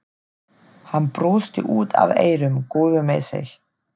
Hann brosti út að eyrum, góður með sig.